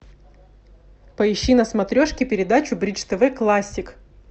поищи на смотрешке передачу бридж тв классик